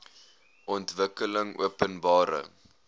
ontwikkelingopenbare